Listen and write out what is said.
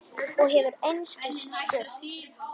Og hefur einskis spurt.